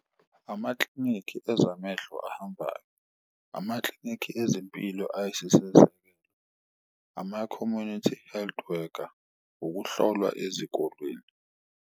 Amaklinikhi ezamehlo ahambayo, amaklinikhi ezempilo , ama-community health worker, ukuhlolwa ezikolweni.